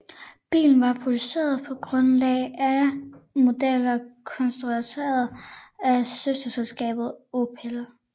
Bilen var produceret på grundlag af modeller konstrueret af søsterselskabet Opel